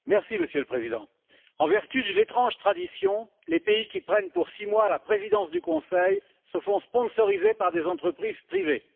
Monsieur le Président, en vertu d'une étrange tradition, les pays qui prennent pour six mois la présidence du Conseil se font sponsoriser par des entreprises privées.